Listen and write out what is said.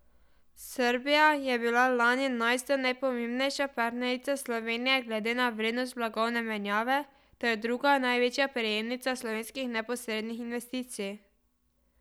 Srbija je bila lani enajsta najpomembnejša partnerica Slovenije glede na vrednost blagovne menjave ter druga največja prejemnica slovenskih neposrednih investicij.